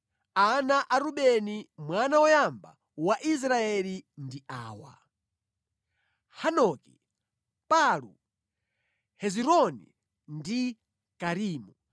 ana a Rubeni mwana woyamba wa Israeli ndi awa: Hanoki, Palu, Hezironi, ndi Karimi.